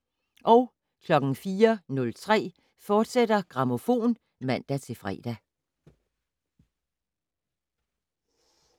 04:03: Grammofon *(man-fre)